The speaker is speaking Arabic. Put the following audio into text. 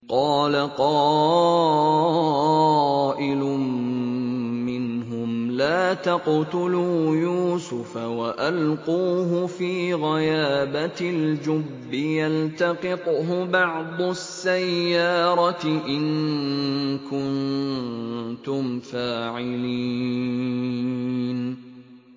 قَالَ قَائِلٌ مِّنْهُمْ لَا تَقْتُلُوا يُوسُفَ وَأَلْقُوهُ فِي غَيَابَتِ الْجُبِّ يَلْتَقِطْهُ بَعْضُ السَّيَّارَةِ إِن كُنتُمْ فَاعِلِينَ